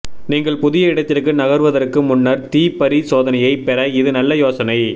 நீங்கள் புதிய இடத்திற்கு நகர்த்துவதற்கு முன்னர் தீ பரிசோதனையைப் பெற இது நல்ல யோசனை